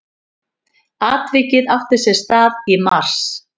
Atvikið átti sér stað í mars